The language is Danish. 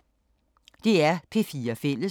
DR P4 Fælles